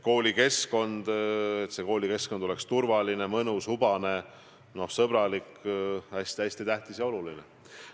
Koolikeskkond peab olema turvaline, mõnus, hubane, sõbralik – see on hästi tähtis, hästi oluline.